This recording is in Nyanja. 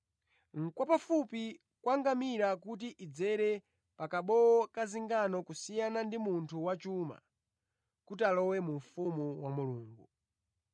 Ndi kwapafupi kwa ngamira kuti idzere pa kabowo ka zingano kusiyana ndi munthu wachuma kuti alowe mu ufumu wa Mulungu.”